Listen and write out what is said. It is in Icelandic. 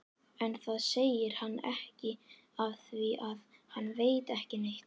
En það segir hann ekki afþvíað hann veit ekki neitt.